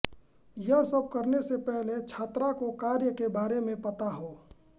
ये सब करने से पहले छात्रा को कार्य के बारे मे पता हों